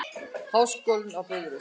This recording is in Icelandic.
Háskólinn á Bifröst.